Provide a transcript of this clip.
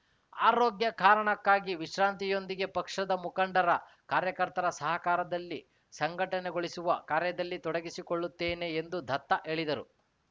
ಆರೋಗ್ಯ ಕಾರಣಕ್ಕಾಗಿ ವಿಶ್ರಾಂತಿಯೊಂದಿಗೆ ಪಕ್ಷದ ಮುಖಂಡರ ಕಾರ್ಯಕರ್ತರ ಸಹಕಾರದಲ್ಲಿ ಸಂಘಟನೆಗೊಳಿಸುವ ಕಾರ್ಯದಲ್ಲಿ ತೊಡಗಿಸಿಕೊಳ್ಳುತ್ತೇನೆ ಎಂದು ದತ್ತ ಹೇಳಿದರು